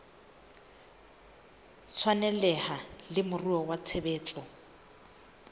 tshwaneleha le moruo wa tshebetso